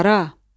Hara?